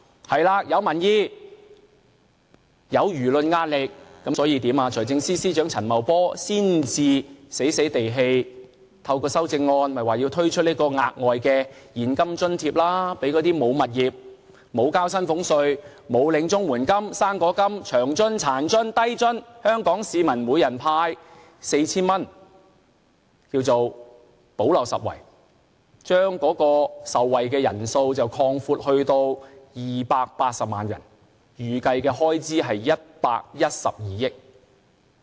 在民意和輿論壓力下，財政司司長陳茂波才不情不願地透過修正案推出額外現金津貼，向那些沒有物業、無須繳交薪俸稅、沒有領取綜援金、"生果金"、長津、殘津、低津的香港市民每人派發 4,000 元，叫作"補漏拾遺"，把受惠人數擴闊至280萬人，預計開支是112億元。